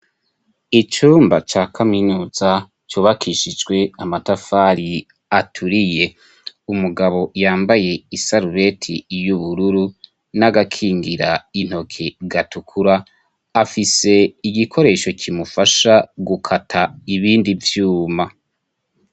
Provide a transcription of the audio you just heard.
Icumba ca kaminuza cubakishijwe amatafari aturiye. Umugabo yambaye isarubeti y'ubururu n'agakingira intoke gatukura, afise igikoresho kimufasha gukata ibindi vyuma.